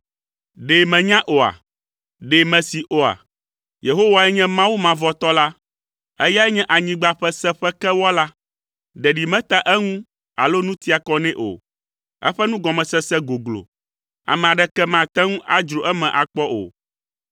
Ɖe mènyae oa? Ɖe mèsee oa? Yehowae nye Mawu mavɔtɔ la. Eyae nye anyigba ƒe seƒe ke Wɔla. Ɖeɖi metea eŋu alo nu tia kɔ nɛ o. Eƒe nugɔmesese goglo. Ame aɖeke mate ŋu adzro eme akpɔ o.